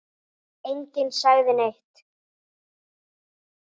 Enginn sagði neitt.